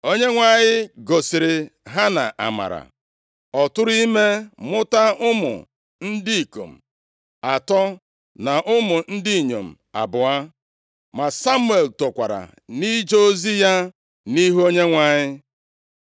Onyenwe anyị gosiri Hana amara. Ọ tụrụ ime mụta ụmụ ndị ikom atọ, na ụmụ ndị inyom abụọ. Ma Samuel tokwara nʼije ozi ya nʼihu Onyenwe anyị.